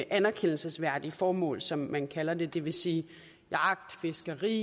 anerkendelsesværdige formål som man kalder det det vil sige jagt fiskeri